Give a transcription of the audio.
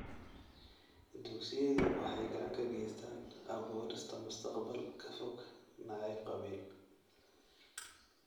Dugsiyadu waxay gacan ka geystaan ??abuurista mustaqbal ka fog nacayb qabiil.